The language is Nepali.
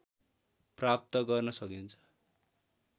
प्राप्त गर्न सकिन्छ